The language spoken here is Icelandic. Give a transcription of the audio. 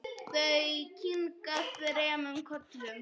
Þau kinka þremur kollum.